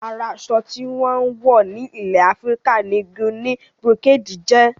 Ara aṣọ tí wón ń wọ̀ ní ilè Afíríkà ni Guinea brocade jẹ́